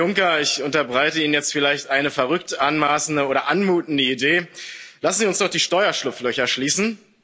Herr Juncker, ich unterbreite Ihnen jetzt vielleicht eine verrückt anmaßende oder anmutende Idee Lassen Sie uns doch die Steuerschlupflöcher schließen!